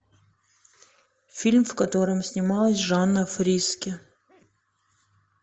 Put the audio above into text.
фильм в котором снималась жанна фриске